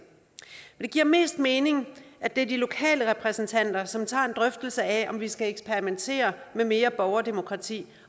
det giver mest mening at det er de lokale repræsentanter som tager en drøftelse af om vi skal eksperimentere med mere borgerdemokrati